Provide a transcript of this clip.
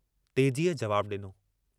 तेजीअ जवाबु डिनो।